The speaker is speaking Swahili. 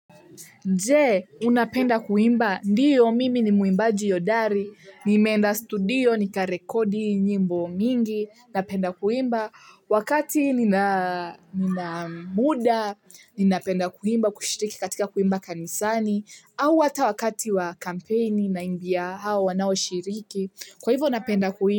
Je unapenda kuimba ndiyo mimi ni muimbaji hodari nimeenda studio nika rekodi nyimbo mingi, napenda kuimba wakati nina muda. Ninapenda kuimba kushiriki katika kuimba kanisani au hata wakati wa kampeni naimbia hao wanao shiriki kwa hivyo napenda kuimba.